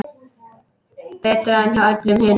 Betra en hjá öllum hinum.